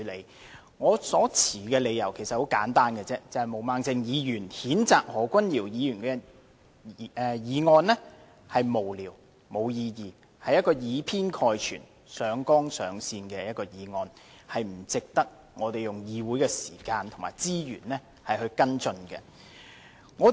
其實我所持的理由很簡單，便是毛孟靜議員譴責何君堯議員的議案是無聊、無意義，是以偏概全，上綱上線的議案，實不值得我們花議會的時間和資源跟進。